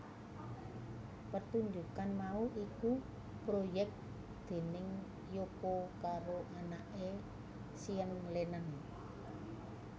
Pertunjukan mau iku proyek déning Yoko karo anaké Sean Lennon